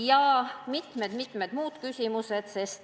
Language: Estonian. Lisaks on siin veel mitu muud küsimust.